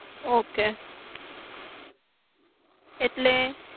કરવા નું રહેશે ઓક જે ફાઈવ નંબર છે એટલે